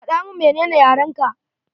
Faɗa mun menene tare ka.